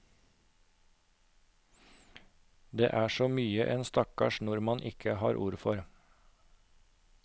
Det er så mye en stakkars nordmann ikke har ord for.